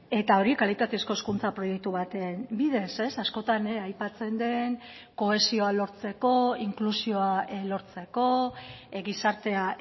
eta hori kalitatezko hezkuntza proiektu baten bidez askotan aipatzen den kohesioa lortzeko inklusioa lortzeko gizartea